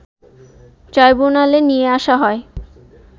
ট্রাইব্যুনালে নিয়ে আসা হয়